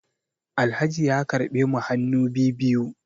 Alhaji ya karbe mu hannu bibiyu